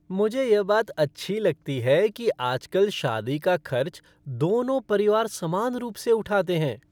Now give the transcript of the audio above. मुझे यह बात है अच्छी लगती है कि आजकल शादी का खर्च दोनों परिवार समान रूप से उठाते हैं।